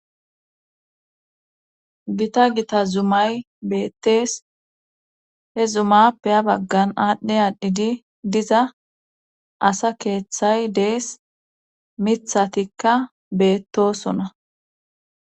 gita gita zumay beettees he zumappe ha baggan aadhdhi aanhdhidi diza asa keeththay dees mithatikka beettosona